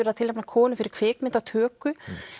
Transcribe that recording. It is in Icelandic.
að tilnefna konu fyrir kvikmyndatöku